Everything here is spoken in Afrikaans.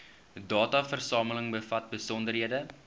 dataversameling bevat besonderhede